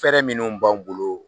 Fɛrɛ minnuw b'an bolo